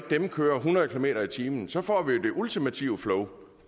dem køre hundrede kilometer per time så får vi jo det ultimative flow